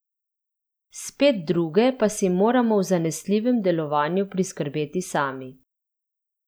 Spet druge pa si moramo v zanesljivem delovanju priskrbeti sami.